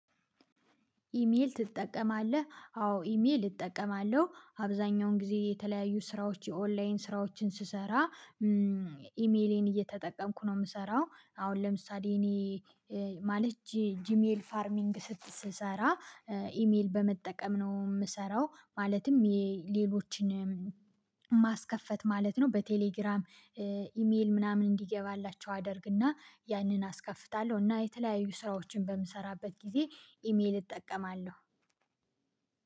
ኢሜል ትጠቀማለህ አዎ ኢሜል እጠቀማለሁ አብዛኛውን ጊዜ የተለያዩ ስራዎች የኦንላይን ስራዎችን ስሰራ ኢሜሌን እየተጠቀምኩ ነው የምሰራው አሁን ለምሳሌ እኔ ማለት ጂሜል ፋርሚንግ ስትሰራ ኢሜል በመጠቀም ነው የምሰራው ማለትም የሌሎችን ማስከፈት ማለት ነው በቴሌግራም ኢሜል ምናምን እንዲገባላቸው አደርግና ያንን አስከፍታለሁ እና የተለያዩ ስራዎችን በምሰራበት ጊዜ ኢሜል እጠቀማለሁ።